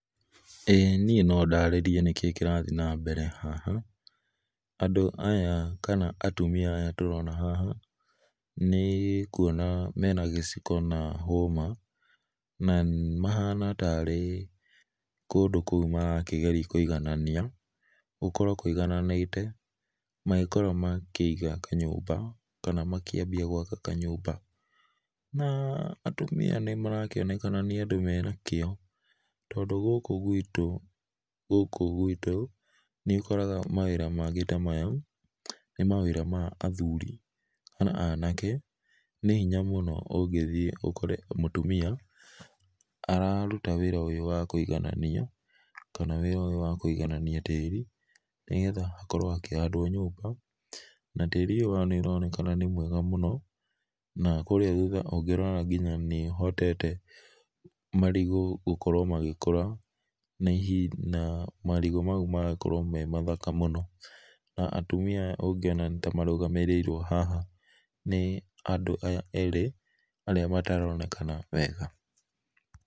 Ĩĩ nĩe no ndarĩrĩe nĩkĩĩ kĩrathĩe na mbere haha, andũ aya kana atũmĩa aya tũrona haha nĩ kũona mena gĩciko na hũma na mahana ta rĩ kũndũ kũu marakĩgerĩa kũĩgananĩa, gũkorwo kũĩgananĩte magĩkorwo makĩiga kanyũmba kana makĩamba gwaka kanyũmba, na atũmia nĩ marakĩonekana nĩ andũ mena kĩyo, tondũ gũkũ gwĩtũ, gũkũ gwĩtũ nĩ ũkoraga mawĩra mangĩ ta maya nĩ mawĩra ma athũrĩ kana anake, nĩ hĩnya mũno ũngĩthiĩ ũkore mũtũmia ararũta wĩra ũyũ wa kũĩgananĩa, kana wĩra ũyũ wa kũĩgananĩa tĩri, nĩ getha hakorwo hakĩhandwo nyũmba, na tĩri ũyũ nĩ ũraonekana nĩ mwega mũno, na kũrĩa thũtha ũngĩrora ngĩnya nĩũhotete marĩgũ gũkorwo magĩkũra, na marĩgũ maũ magakorwo me ma thaka mũno, na atumĩa aya ũngĩona nĩ ta marũgamĩrĩirwo haha nĩ andũ aya erĩ arĩa mataraonekana wega.